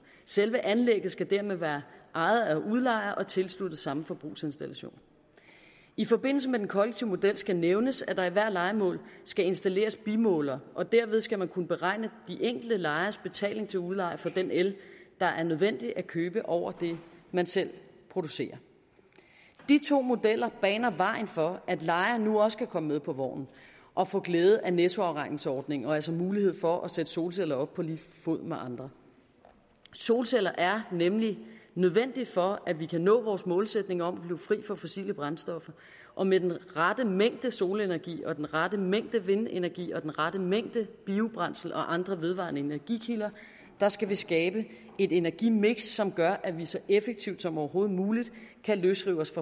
selve anlægget skal dermed være ejet af udlejer og tilsluttet samme forbrugsinstallation i forbindelse med den kollektive model skal nævnes at der i hvert lejemål skal installeres bimåler og derved skal man kunne beregne de enkelte lejeres betaling til udlejer for den el der er nødvendig at købe ud over det man selv producerer de to modeller baner vejen for at lejerne nu også kan komme med på vognen og få glæde af nettoafregningsordningen og altså mulighed for at sætte solceller op på lige fod med andre solceller er nemlig nødvendigt for at vi kan nå vores målsætning om at blive fri for fossile brændstoffer og med den rette mængde solenergi og den rette mængde vindenergi og den rette mængde biobrændsel og andre vedvarende energikilder skal vi skabe et energimix som gør at vi så effektivt som overhovedet muligt kan løsrive os